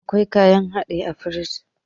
Akwai kayan hadin a firingi